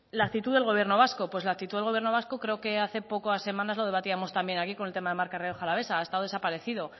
la actitud del gobierno vasco pues la actitud del gobierno vasco creo que hace pocas semanas lo debatíamos también aquí con el tema de marca rioja alavaesa ha estado desaparecido